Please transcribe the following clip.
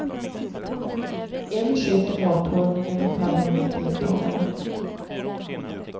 En sköter mathållningen och följer med deltagarna.